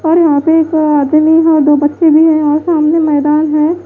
और यहां पे एक आदमी है और दो बच्चे भी हैं और सामने मैदान है।